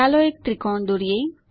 ચાલો એક ત્રિકોણ દોરીએ